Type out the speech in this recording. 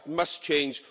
That must change.